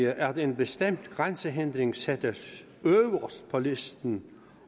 at en bestemt grænsehindring sættes øverst på listen